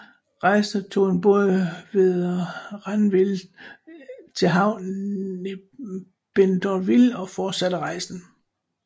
Rejsende tog en båd ved Ranville til til havnen i Bénouville og fortsatte rejsen